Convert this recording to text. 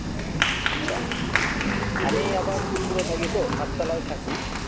আচ্ছা আমি আবার উপরে থাকি তো সাততলায় থাকি